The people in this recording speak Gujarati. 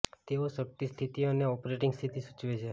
તેઓ શક્તિ સ્થિતિ અને ઓપરેટિંગ સ્થિતિ સૂચવે છે